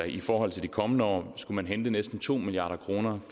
i forhold til de kommende år skulle man hente næsten to milliard kroner